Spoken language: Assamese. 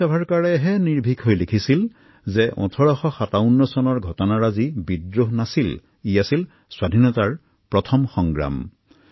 বীৰ ছাভাৰকাৰে এই কথা লিখিছিল যে ১৮৫৭ত সংঘটিত এই পৰিঘটনা মাথো এক বিদ্ৰোহ নাছিল এয়া আছিল স্বাধীনতাৰ প্ৰথম যুদ্ধ